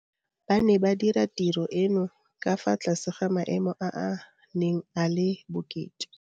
Ba ne ba dira tiro eno ka fa tlase ga maemo a a neng a le bokete.